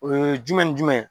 O ye jumɛn ni jumɛn ye.